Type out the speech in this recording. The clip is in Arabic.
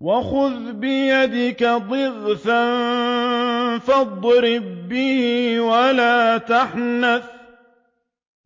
وَخُذْ بِيَدِكَ ضِغْثًا فَاضْرِب بِّهِ وَلَا تَحْنَثْ ۗ